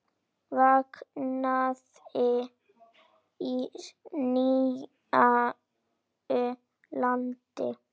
Vaknaði í nýju landi.